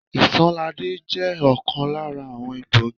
Isanaje je ọ̀kan lára àwọn egbògi.